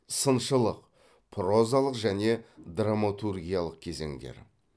сыншылық прозалық және драматургиялық кезеңдер